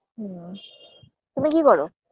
ও তুমি কি করো